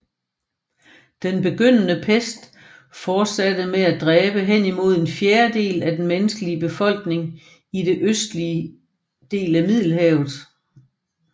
Den begyndende pest fortsatte med at dræbe henimod en fjerdedel af den menneskelige befolkning i det østlige del af Middelhavet